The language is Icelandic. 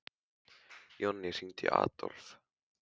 Jonný, hringdu í Adólf.